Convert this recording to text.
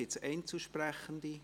Gibt es Einzelsprechende?